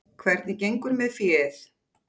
Hvernig gengur með féð?